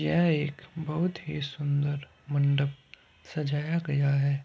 यह एक बहोत ही सुंदर मंडप सजाया गया हैं।